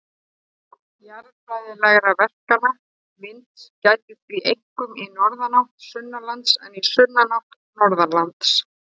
Jarðfræðilegra verkana vinds gætir því einkum í norðanátt sunnanlands en í sunnanátt norðanlands.